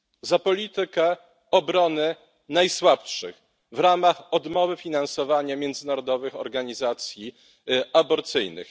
Za politykę obrony najsłabszych w ramach odmowy finansowania międzynarodowych organizacji aborcyjnych.